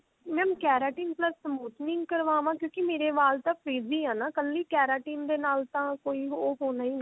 mam keratin plus smoothening ਕਰਵਾਵਾਂ ਕਿਉਂਕਿ ਮੇਰੇ ਵਾਲ ਤਾਂ freeze ਹੈ ਨਾ ਕੱਲੀ keratin ਦੇ ਨਾਲ ਤਾਂ ਕੋਈ ਉਹ ਹੋਣਾ